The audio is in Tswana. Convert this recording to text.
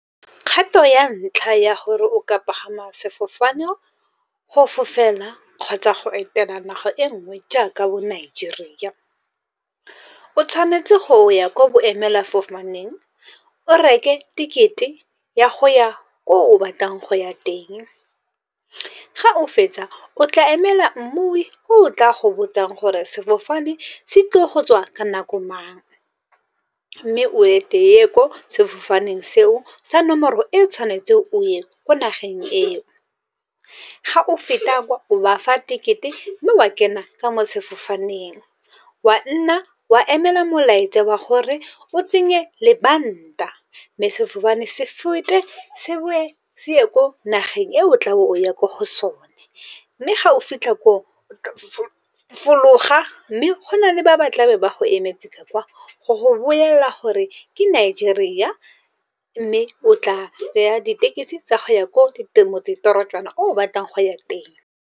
Kgato ya ntlha ya gore o ka pagama sefofane go fofela kgotsa go etela naga e nngwe, jaaka bo Nigeria. O tshwanetse go ya kwa boemela fofaneng o reke ticket-e ya go ya ko o batlang go ya teng. Ga o fetsa o tla emela mmui o tla go botsang gore sefofane se tlile go tswa ka nako mang. Mme o ete o ye ko sefofaneng seo sa nomoro e tshwanetseng o ye ko nageng eo. Ga o feta o bafa ticket-e, mme wa kena ka mo sefofaneng. O a nna wa emela molaetsa wa gore o tsenye lebanta, mme sefofane se fete se boe se ye ko nageng e o tlabo o ya ko go sone. Mme ga o fitlha koo fologa mme go na le ba ba tlabe ba go emetse ka kwa, go go bolelela gore ke Nigeria. Mme o tla tsaya ditekisi tsa go ya ko di motsetorojana o batlang go ya teng.